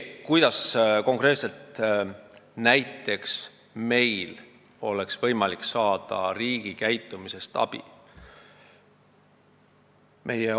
Kuidas konkreetselt oleks meil võimalik saada abi riigilt, sellest, kuidas ta käitub?